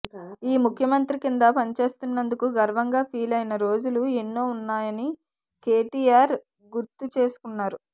ఈ ముఖ్యమంత్రి కింద పనిచేస్తున్నందుకు గర్వంగా ఫీలైన రోజులు ఎన్నో ఉన్నాయని కేటీఆర్ గుర్తు చేసుకున్నారు